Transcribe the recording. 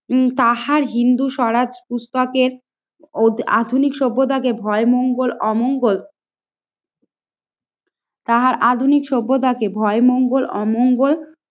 তাহার হিন্দু, স্বরাজ, পুস্তকের ও আধুনিক সভ্যতাকে ভয় মঙ্গল, অমঙ্গল তাহার আধুনিক সভ্যতাকে ভয়ে মঙ্গল অমঙ্গল